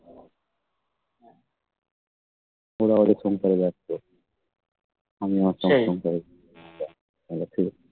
ওরাও এরকম করে যাচ্ছে